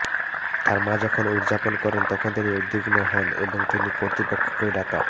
তাঁর মা যখন উদযাপন করেন তখন তিনি উদ্বিগ্ন হন এবং তিনি কর্তৃপক্ষকে ডাকা